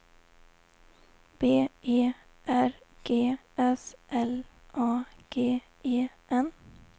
B E R G S L A G E N